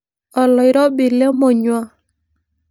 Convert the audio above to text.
Oloirobi lemonyua.